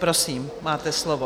Prosím, máte slovo.